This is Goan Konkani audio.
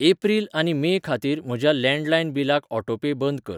एप्रिल आनी मे खातीर म्हज्या लॅंडलायन बिलाक ऑटोपे बंद कर.